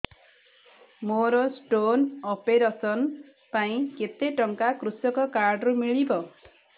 ମୋର stone operation ପାଇଁ କେତେ ଟଙ୍କା କୃଷକ କାର୍ଡ ରୁ ମିଳିବ